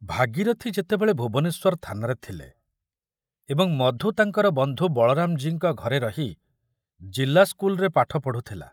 ଭାଗୀରଥ ସେତେବେଳେ ଭୁବନେଶ୍ୱର ଥାନାରେ ଥିଲେ ଏବଂ ମଧୁ ତାଙ୍କର ବନ୍ଧୁ ବଳରାମଜୀଙ୍କ ଘରେ ରହି ଜିଲ୍ଲା ସ୍କୁଲରେ ପାଠ ପଢ଼ୁଥିଲା।